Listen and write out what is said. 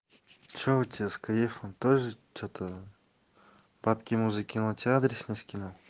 что у тебя с каефом тоже что-то папки муже тебе адрес не скинул